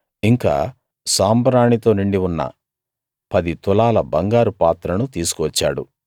ఇంకా సాంబ్రాణి తో నిండి ఉన్న పది తులాల బంగారు పాత్రను తీసుకువచ్చాడు